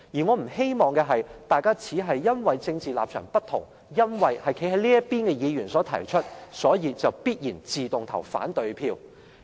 我不希望大家只因為政治立場不同，因為修訂是由站在這邊的議員提出，便必然地、自動地投反對票。